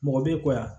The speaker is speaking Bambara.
Mɔgɔ bɛ kɔya